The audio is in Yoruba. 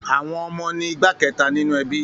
Àwọn ọmọ ni igbá kẹta ninu ẹbí.